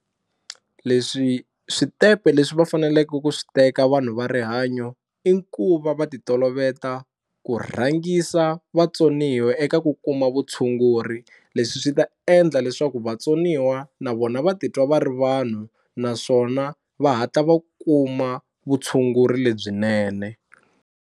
Leswi switepe leswi va faneleke ku swi teka vanhu va rihanyo i ku va va ti toloveta ku rhangisa vatsoniwa eka ku kuma vutshunguri, leswi swi ta endla leswaku vatsoniwa na vona va ti twa va ri vanhu naswona va hatla va kuma vutshunguri lebyinene.